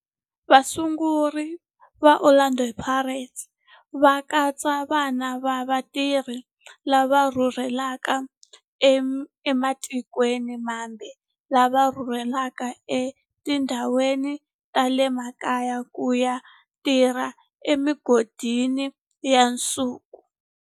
Vasunguri va Orlando Pirates va katsa vana va vatirhi lava rhurhelaka ematikweni mambe lava rhurheleke etindhawini ta le makaya ku ya tirha emigodini ya nsuku eGauteng.